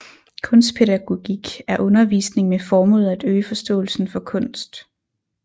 Kunstpædagogik er undervisning med formålet at øge forståelsen for kunst